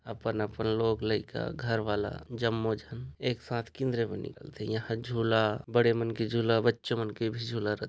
अपन अपन लोग लाइका घर वाला जममो झन एक साथ किंजरे बर निकलथे यहाँ झूला बड़े मन के झूला बच्चे मन के भी--